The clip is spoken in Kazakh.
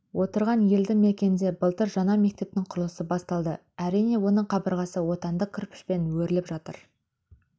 отырған елді мекенде былтыр жаңа мектептің құрылысы басталды әрине оның қабырғасы отандық кірпішпен өріліп жатыр